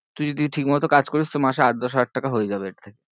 তুই যদি ঠিক মতো কাজ করিস তো মাসে আট দশ হাজার টাকা হয়ে যাবে এর থেকে।